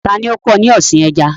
Ta ni ó kọ́ ọ ní ọ̀sìn ẹja?